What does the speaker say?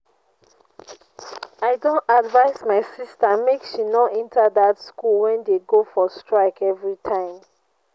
i don advice my sister make she no enter dat school wey dey go for strike everytime